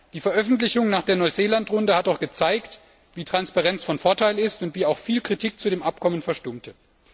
Die Veröffentlichung nach der Neuseeland Runde hat doch gezeigt, wie sehr Transparenz von Vorteil ist und wie auch viel Kritik zu dem Abkommen verstummte.